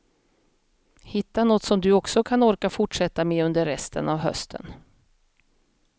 Hitta något som du också kan orka fortsätta med under resten av hösten.